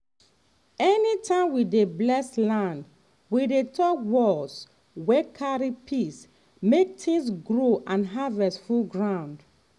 anytime we dey bless land we dey talk words wey carry peace make things grow and harvest full ground.